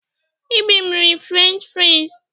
Ibim riri Frenchị friz.